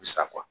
Sa